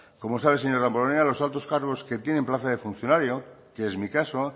como sabe señor damborenea los altos cargos que tienen plaza de funcionario que es mi caso